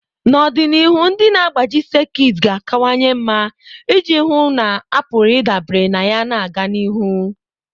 N'ọdịnihu, ndị na-agbaji sekit ga-akawanye mma iji hụ na a pụrụ ịdabere na ya na-aga n'ihu.